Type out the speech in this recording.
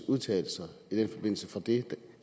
udtalelser i den forbindelse fra det